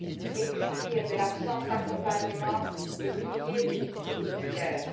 Et que dire de l'absence d'accompagnement des milliers de victimes de guerre?